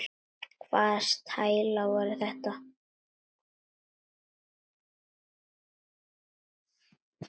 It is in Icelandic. Hvaða stælar voru þetta?